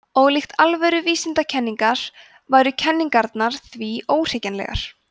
ólíkt alvöru vísindakenningar væru kenningarnar því óhrekjanlegar